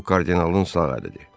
O kardinalın sağ əlidir.